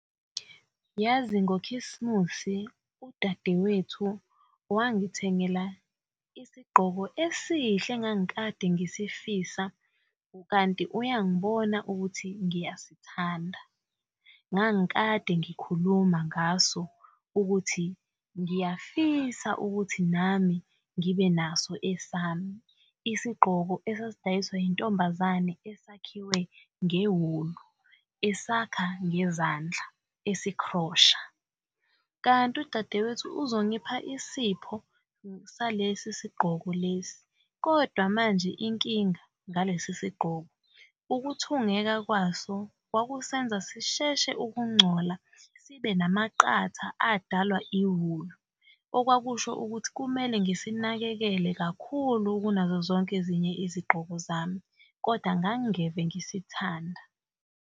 Yazi ngokhisimusi udadewethu wangithengela isigqoko esihle engang'kade ngisifisa kanti uyangibona ukuthi ngiyasithanda ngangikade ngikhuluma ngaso ukuthi ngiyafisa ukuthi nami ngibe naso esami. Isigqoko esasidayiswa yintombazane esakhiwe ngewulu, esakha ngezandla esikhrosha, kanti udadewethu uzongipha isipho salesi sigqoko lesi, kodwa manje inkinga ngalesi sigqoko ukuthungeka kwaso kwakusenza sisheshe ukungcola sibe namaqatha adalwa iwulu, okwakusho ukuthi kumele ngisinakekele kakhulu kunazo zonke ezinye isigqoko zami, kodwa ngang'ngeve ngisithanda.